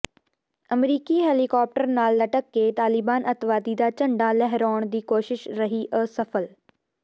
ਅਮਰੀਕੀ ਹੈਲੀਕਾਪਟਰ ਨਾਲ ਲਟਕ ਕੇ ਤਾਲਿਬਾਨ ਅੱਤਵਾਦੀ ਦਾ ਝੰਡਾ ਲਹਿਰਾਉਣ ਦੀ ਕੋਸ਼ਿਸ਼ ਰਹੀ ਅਸਫ਼ਲ